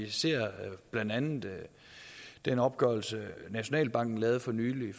ser blandt andet den opgørelse nationalbanken lavede for nylig